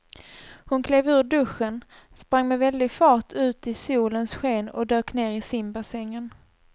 Hon klev ur duschen, sprang med väldig fart ut i solens sken och dök ner i simbassängen.